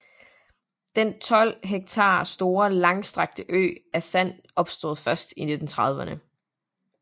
Den 12 hektar store langstrakte ø af sand opstod først 1930erne